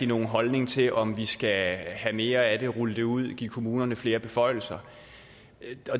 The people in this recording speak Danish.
nogen holdning til om vi skal have mere af det rulle det ud give kommunerne flere beføjelser